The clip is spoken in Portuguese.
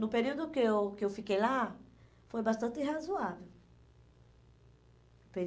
No período que eu que eu fiquei lá, foi bastante razoável.